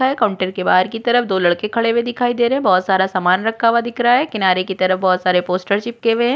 Counter के बाहर की तरफ दो लड़के खड़े हुए दिखाई दे रहै है बहुत सारा सामान रखा हुआ दिख रहा है किनारे की तरफ बोहोत सारे पोस्टर चिपके हुए हैं।